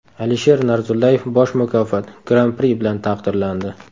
Alisher Narzullayev bosh mukofot Gran-pri bilan taqdirlandi.